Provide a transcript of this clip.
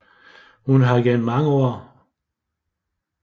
Hun har gennem mange år aktiv i Hadsund Roklub